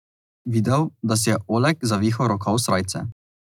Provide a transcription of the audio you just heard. Videl, da si je Oleg zavihal rokav srajce.